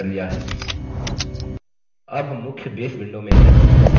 अब हम मुख्य base window में हैं